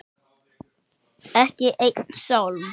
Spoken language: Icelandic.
Ekki einn sálm.